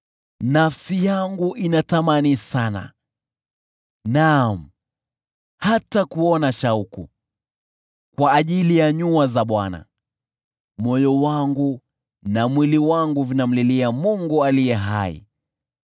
Nafsi yangu inatamani sana, naam, hata kuona shauku, kwa ajili ya nyua za Bwana ; moyo wangu na mwili wangu vinamlilia Mungu Aliye Hai.